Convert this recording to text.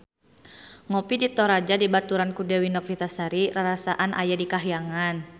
Ngopi di Toraja dibaturan ku Dewi Novitasari rarasaan aya di kahyangan